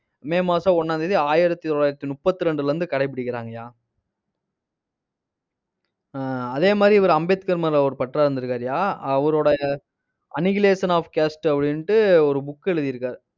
மே மாசம் ஒண்ணாம் தேதி, ஆயிரத்தி தொள்ளாயிரத்தி முப்பத்தி ரெண்டுல இருந்து கடைபிடிக்கிறாங்கயா. ஆஹ் அதே மாதிரி இவரு அம்பேத்கர் மேல ஒரு பற்றா இருந்திருக்காருயா. அவரோட annihilation of caste அப்படின்னுட்டு ஒரு book எழுதி இருக்காரு.